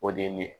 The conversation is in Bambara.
O de ye nin ye